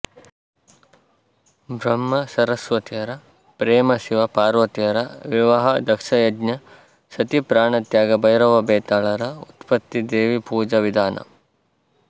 ಬ್ರಹ್ಮ ಸರಸ್ವತಿಯರ ಪ್ರೇಮ ಶಿವ ಪಾರ್ವತಿಯರ ವಿವಾಹ ದಕ್ಷಯಜ್ಞ ಸತೀ ಪ್ರಾಣತ್ಯಾಗ ಭೈರವ ಬೇತಾಳರ ಉತ್ಪತ್ತಿ ದೇವಿಪುಜಾ ವಿಧಾನ